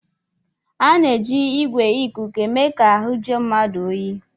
A na-eji igwè ìkùkù eme ka ahụ jụọ mmadụ oyi